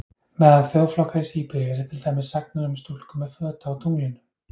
Meðal þjóðflokka í Síberíu eru til dæmis sagnir um stúlku með fötu á tunglinu.